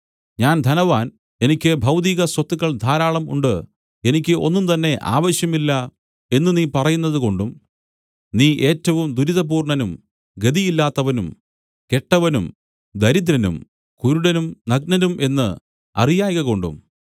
ഞാൻ ധനവാൻ എനിക്ക് ഭൗതിക സ്വത്തുക്കൾ ധാരാളം ഉണ്ട് എനിക്ക് ഒന്നുംതന്നെ ആവശ്യം ഇല്ല എന്നു നീ പറയുന്നതുകൊണ്ടും നീ ഏറ്റവും ദുരിതപൂർണ്ണനും ഗതിയില്ലാത്തവനും കെട്ടവനും ദരിദ്രനും കുരുടനും നഗ്നനും എന്ന് അറിയായ്കകൊണ്ടും